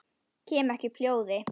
Kem ekki upp hljóði.